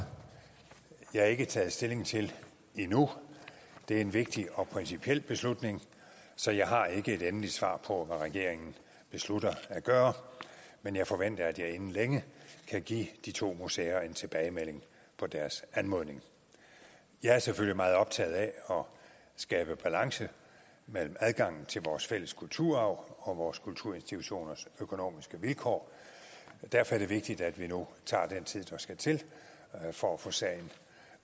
jeg ikke taget stilling til endnu det er en vigtig og principiel beslutning så jeg har ikke et endeligt svar på hvad regeringen beslutter at gøre men jeg forventer at jeg inden længe kan give de to museer en tilbagemelding på deres anmodning jeg er selvfølgelig meget optaget af at skabe balance mellem adgangen til vores fælles kulturarv og vores kulturinstitutioners økonomiske vilkår og derfor er det vigtigt at vi nu tager den tid der skal til for at få sagen